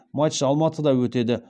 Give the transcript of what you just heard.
матч алматыда өтеді